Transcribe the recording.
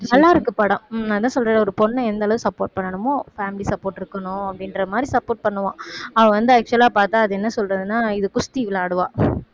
நல்லாயிருக்கு படம் உம் நான் என்ன சொல்றேன்னா ஒரு பொண்ண எந்த அளவுக்கு support பண்ணணுமோ family support இருக்கணும் அப்படின்ற மாதிரி support பண்ணுவான் அவ வந்து actual ஆ பாத்தா அது என்ன சொல்றதுன்னா இது குஸ்தி விளையாடுவா